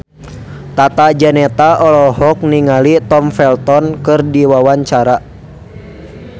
Tata Janeta olohok ningali Tom Felton keur diwawancara